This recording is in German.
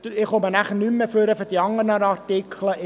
Ich komme nachher für die anderen Artikel nicht mehr nach vorne.